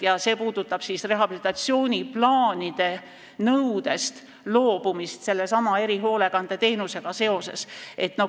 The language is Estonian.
See puudutab rehabilitatsiooniplaanide nõudest loobumist sellesama erihoolekandeteenusega seoses.